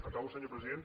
acabo senyor president